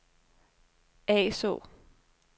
Asaa